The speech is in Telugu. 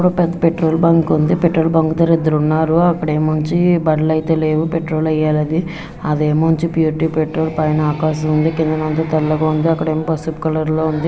పెట్రోల్ బంక్ ఉంది. పెట్రోల్ బంక్ దగ్గర ఇద్దరు ఉన్నారు. అక్కడేముంచి బండ్లు అయితే లేవు పెట్రోల్ ఎయ్యాలది. ఆదేముంచి ప్యూరిటీ పెట్రోల్ పైన ఆకాశముంది కిందనంత తెల్లగా ఉంది. అక్కడ అంతా పసుపు కలర్ లో ఉంది.